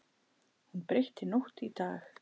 Hún breytti nótt í dag.